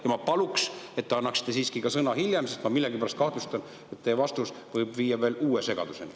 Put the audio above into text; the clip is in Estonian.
Ja ma palun, et te annaksite siiski ka hiljem sõna, sest ma millegipärast kahtlustan, et teie vastus võib viia veel uue segaduseni.